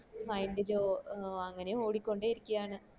mind ല് ഓ അങ്ങനെ ഓടിക്കൊണ്ടിരിക്ക ആണ്